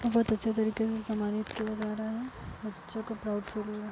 बोहोत अच्छे तरीके से समानित किया जा रहा है। बच्चो को प्राउड फील हुआ।